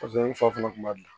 n fa fana kun b'a dilan